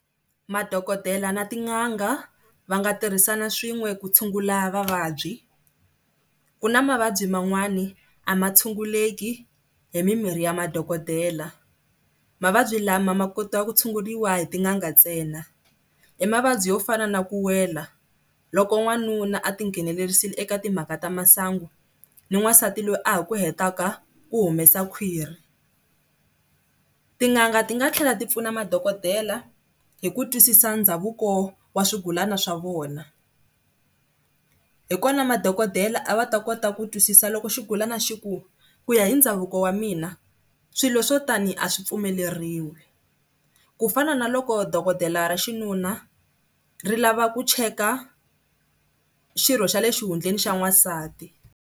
Madokodela na tin'anga va nga tirhisana swin'we ku tshungula vavabyi. Ku na mavabyi man'wana a ma tshunguleki hi mimirhi ya madokodela, mavabyi lama ma kota ku tshunguriwa hi tin'anga ntsena, i mavabyi yo fana na ku wela loko wanuna a tinghenelerisa eka timhaka ta masangu ni wansati loyi a ha ku hetaka u humesa khwiri. Tin'anga ti nga tlhela ti pfuna madokodela hi ku twisisa ndhavuko wa swigulana swa vona. Hi kona madokodela a va ta kota ku twisisa loko xigulana xi ku, ku ya hi ndhavuko wa mina swilo swo tani a swi pfumeleriwile. Ku fana na loko dokodela ra xinuna ri lava ku cheka xirho xa le xihundleni xa n'wansati.